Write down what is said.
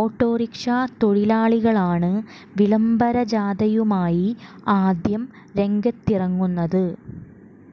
autorickshaw തൊഴിലാളികളാണ് വിളംബരജാഥയുമായി ആദ്യം രംഗത്തിറങ്ങുന്നത്